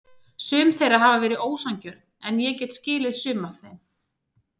Sum þeirra hafa verið ósanngjörn en ég get skilið sum af þeim.